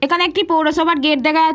এখানে একটি পৌরসভার গেট দেখা যা --